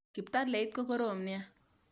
Kiptaleit ko korom nea